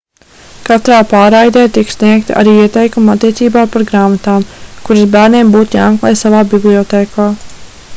katrā pārraidē tiek sniegti arī ieteikumi attiecībā par grāmatām kuras bērniem būtu jāmeklē savā bibliotēkā